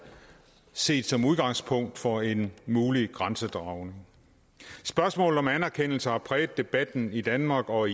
set som udgangspunkt for en mulig grænsedragning spørgsmålet om anerkendelse har præget debatten i danmark og